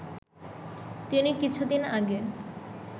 তিনি কিছুদিন আগে